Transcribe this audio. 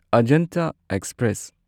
Ajanta express